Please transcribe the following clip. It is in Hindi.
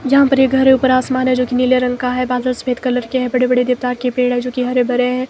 यहां पर एक घर है ऊपर आसमान है जो कि नीले रंग का है बादल सफेद कलर के है बड़े बड़े देवदार के पेड़ है जो कि हरे भरे हैंभाई।